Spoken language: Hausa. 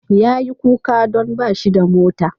Yayi kuka don bashi da mota.